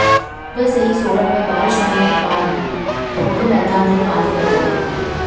सुबह से ही सोलन में बारिश होने के कारण ठोडो मैदान में पानी भर गया